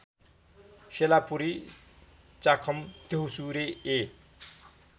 सेलापुरी चाखम द्यौसुरे ए